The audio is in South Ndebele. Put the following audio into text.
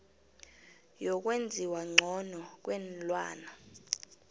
yokwenziwa ngcono kweenlwana